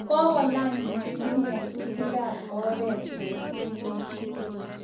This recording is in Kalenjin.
kakolany missing nyasutikab oret eng emet